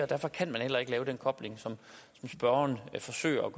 derfor kan man heller ikke lave den kobling som spørgeren forsøger